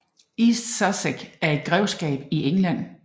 East Sussex er et grevskab i England